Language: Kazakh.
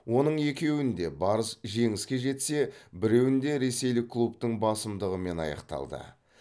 оның екеуінде барыс жеңіске жетсе біреуінде ресейлік клубтың басымдығымен аяқталды